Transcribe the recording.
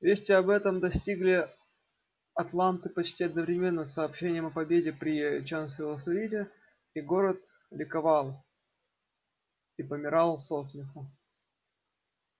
весть об этом достигли атланты почти одновременно с сообщением о победе при чанселорсвилле и город ликовал и помирал со смеху